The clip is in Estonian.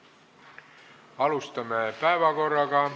Läheme päevakorra juurde.